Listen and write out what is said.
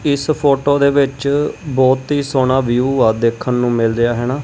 ਇਸ ਫੋਟੋ ਦੇ ਵਿੱਚ ਬਹੁਤ ਹੀ ਸੋਹਣਾ ਵਿਊ ਆ ਦੇਖਣ ਨੂੰ ਮਿਲ ਰਿਹੈ ਹੈਨਾ।